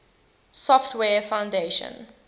software foundation